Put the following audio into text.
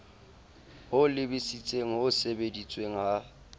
ho lebisitseng ho sebedisweng ha